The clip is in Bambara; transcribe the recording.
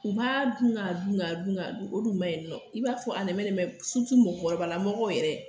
U b'a dun k'a dun k'a dun o dun man ɲi nɔ i b'a fɔ a nɛmɛnɛmɛ mɔgɔkɔrɔbala mɔgɔ yɛrɛ